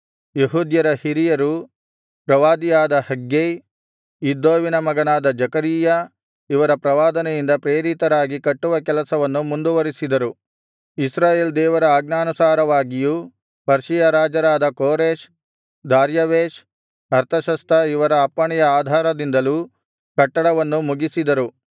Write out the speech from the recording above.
ಯೆಹೂದ್ಯರ ಹಿರಿಯರು ಪ್ರವಾದಿಯಾದ ಹಗ್ಗೈ ಇದ್ದೋವಿನ ಮಗನಾದ ಜೆಕರೀಯ ಇವರ ಪ್ರವಾದನೆಯಿಂದ ಪ್ರೇರಿತರಾಗಿ ಕಟ್ಟುವ ಕೆಲಸವನ್ನು ಮುಂದುವರಿಸಿದರು ಇಸ್ರಾಯೇಲ್ ದೇವರ ಆಜ್ಞಾನುಸಾರವಾಗಿಯೂ ಪರ್ಷಿಯ ರಾಜರಾದ ಕೋರೆಷ್ ದಾರ್ಯಾವೆಷ್ ಅರ್ತಷಸ್ತ ಇವರ ಅಪ್ಪಣೆಯ ಆಧಾರದಿಂದಲೂ ಕಟ್ಟಡವನ್ನು ಮುಗಿಸಿದರು